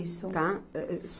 Isso. Tá. Â, â